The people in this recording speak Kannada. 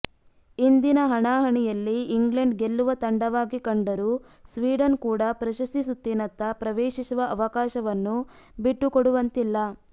ಇಂದಿನ ಹಣಾಹಣಿಯಲ್ಲಿ ಇಂಗ್ಲೆಂಡ್ ಗೆಲ್ಲುವ ತಂಡವಾಗಿ ಕಂಡರೂ ಸ್ವೀಡನ್ ಕೂಡ ಪ್ರಶಸ್ತಿ ಸುತ್ತಿನತ್ತ ಪ್ರವೇಶಿಸುವ ಅವಕಾಶವನ್ನು ಬಿಟ್ಟುಕೊಡುವಂತಿಲ್ಲ